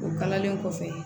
O kalanlen kɔfɛ